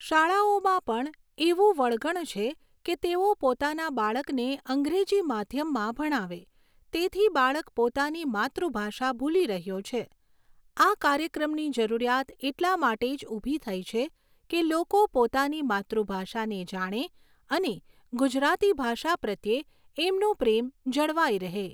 શાળાઓમાં પણ એવું વળગણ છે કે તેઓ પોતાના બાળકને અંગ્રેજી માધ્યમમાં ભણાવે તેથી બાળક પોતાની માતૃભાષા ભૂલી રહ્યો છે. આ કાર્યક્રમની જરૂરિયાત એટલા માટે જ ઊભી થઈ છે કે લોકો પોતાની માતૃભાષાને જાણે અને ગુજરાતી ભાષા પ્રત્યે એમનો પ્રેમ જળવાઈ રહે.